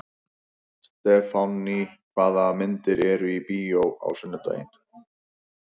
Stefánný, hvaða myndir eru í bíó á sunnudaginn?